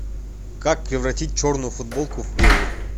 как превратить черную футболку в белую